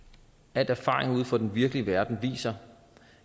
al erfaring ude fra den virkelige verden viser